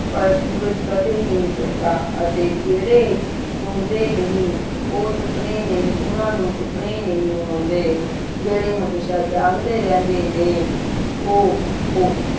ਪਰ ਸੂਰਜ ਕਦੇ ਨਹੀਂ ਸੌਂਦਾ ਅਤੇ ਜਿਹੜੇ ਸੌਂਦੇ ਨਹੀਂ ਉਹ ਸੁਪਨੇ ਨਹੀਂ ਓਹਨਾ ਨੂੰ ਸੁਪਨੇ ਨਹੀਂ ਆਉਂਦੇ ਜਿਹੜੇ ਹਮੇਸ਼ਾ ਜਾਗਦੇ ਰਹਿੰਦੇ ਨੇ ਉਹ ਓ